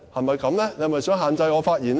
主席，你是否想限制我發言呢？